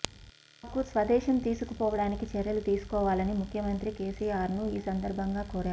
తమను స్వదేశం తీసుకుపోవడానికి చర్యలు తీసుకోవాలని ముఖ్యమంత్రి కేసీఆర్ను ఈ సందర్భంగా కోరారు